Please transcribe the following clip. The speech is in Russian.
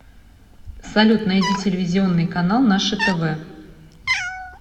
салют найди телевизионный канал наше тв